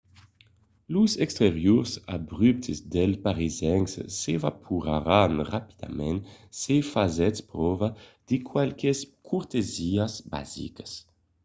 los exteriors abruptes dels parisencs s'evaporaràn rapidament se fasètz pròva de qualques cortesiás basicas